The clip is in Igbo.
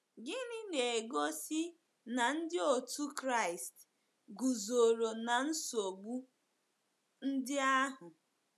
Gịnị na-egosi na ndị otu Kraịst guzoro na nsogbu ndị ahụ?